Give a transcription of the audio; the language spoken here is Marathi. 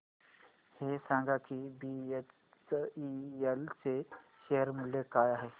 हे सांगा की बीएचईएल चे शेअर मूल्य काय आहे